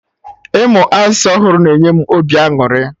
Ịmụ asụsụ ọhụrụ na-enye obi aṅụrị